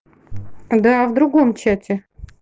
да в другом чате